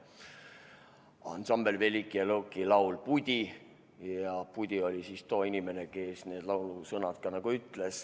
" Ansambel Velikije Luki laul "Pudi" ja Pudi oli too inimene, kes need laulusõnad ka lõi.